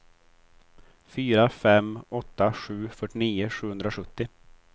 fyra fem åtta sju fyrtionio sjuhundrasjuttio